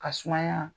Ka sumaya